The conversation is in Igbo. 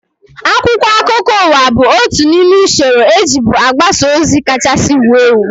Akwụkwọ akụkọ ụwa bụ otu n'ime usoro ejibu agbasa ozi kachasị wuo ewu